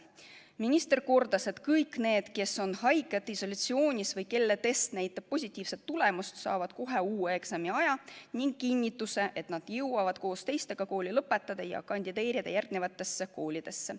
Minister kordas, et kõik need, kes on haiged, isolatsioonis või kelle test näitab positiivset tulemust, saavad kohe uue eksamiaja ning kinnituse, et nad jõuavad koos teistega kooli lõpetada ja kandideerida järgmistesse koolidesse.